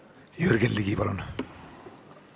Jürgen Ligi, palun!